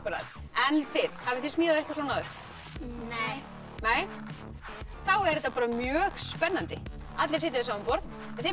en þið hafið þið smíðað eitthvað svona áður nei nei þá er þetta bara mjög spennandi allir sitja við sama borð en þið